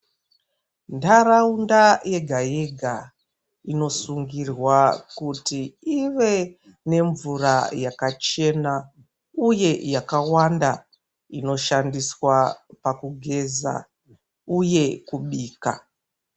Ndaraunda yega yega inosungirwa kuti ive nemvura yakachena uye yakawanda inoshandiswa pakugeza uye kubika.